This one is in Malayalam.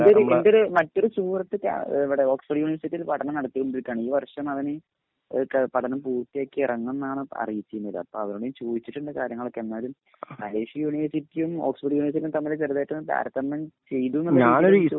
എന്റോരു എന്റെ ഒരു മറ്റൊരു സുഹൃത്ത് ഇവിടെ ഓക്സ്ഫോർഡ് യൂനിവേർസിറ്റിയിൽ പഠനം നടത്തി കൊണ്ടിരിക്കുകയാണ്. ഈ വർഷം അവൻ പഠനം പൂർത്തിയാക്കി ഇറങ്ങും എന്നാണ് അറിയിച്ചിരുന്നത്. അപ്പോൾ അവനോട് ചോദിച്ചിട്ടുണ്ട് കാര്യങ്ങൾ ഒക്കെ. എന്നാലും മലേഷ്യൻ യൂനിവേർസിറ്റിയും ഓക്സ്ഫോർഡ് യൂനിവേർസിറ്റിയും തമ്മിൽ ചെറുതായിട്ടൊന്ന് താരതമ്യം ചെയ്ത്